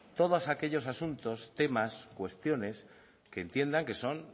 todos aquellos asuntos temas cuestiones que entiendan que son